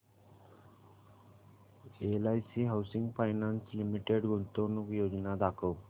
LIC housing finance limited गुंतवणूक योजना दाखव